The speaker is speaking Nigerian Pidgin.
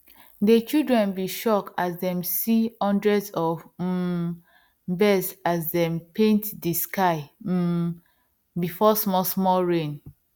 dey children been shock as dem see hundreds of um birds as dem paint dey sky um before small small rain